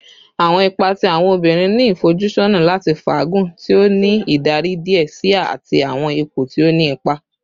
Awọn ipa ti awọn obinrin ni ifojusọna lati faagun, ti o ni idari diẹ sii ati awọn ipo ti o ni ipa